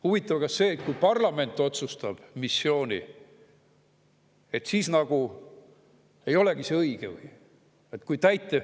Huvitav, kas siis, kui parlament otsustab missiooni, see ei olegi nagu õige või?